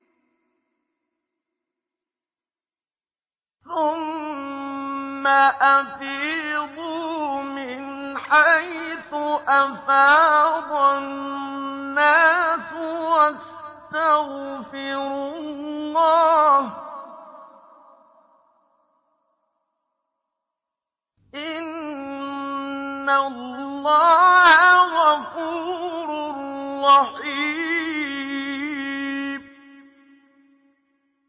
ثُمَّ أَفِيضُوا مِنْ حَيْثُ أَفَاضَ النَّاسُ وَاسْتَغْفِرُوا اللَّهَ ۚ إِنَّ اللَّهَ غَفُورٌ رَّحِيمٌ